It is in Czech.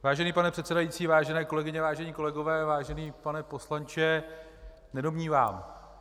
Vážený pane předsedající, vážené kolegyně, vážení kolegové, vážený pane poslanče, nedomnívám.